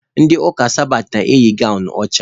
Ndị ụka sabatị na-eyi gawnụ ọcha.